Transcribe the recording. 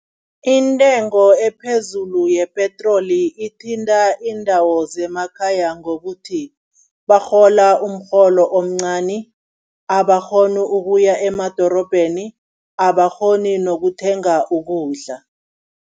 Intengo ephezulu yepetroli ithinta iindawo zemakhaya ngokuthi, barhola umrholo omncani, abakghoni ukuya emadorobheni, abakghoni nokuthenga ukudla.